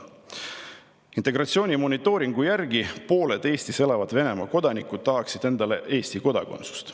Integratsiooni monitooringu järgi tahaksid pooled Eestis elavad Venemaa kodanikud endale Eesti kodakondsust.